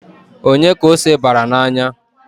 Onye ka ose bara n'anya?